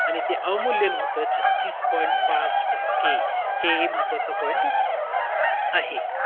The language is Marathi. ते अवमूल्यन होतं छत्तीस point पाच टक्के हे महत्वाचा point आहे.